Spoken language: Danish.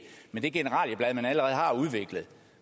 med det generalieblad man allerede har udviklet